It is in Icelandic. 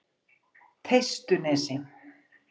Teistunesi